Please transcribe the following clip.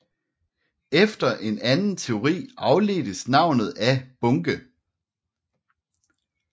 Efter en anden teori afledtes navnet af bunke